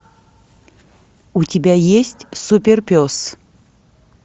у тебя есть суперпес